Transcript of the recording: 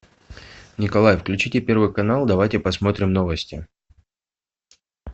николай включите первый канал давайте посмотрим новости